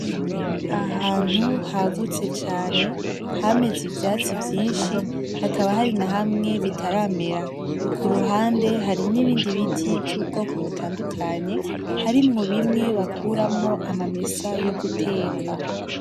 Ahantu hagutse cane, hameze ivyatsi vyinshi hakaba hari na hamwe bitaramera. Kuruhande hari nibindi biti vyubwoko butandukanye harimwo bimwe bakuramwo ama mesa yoguteka.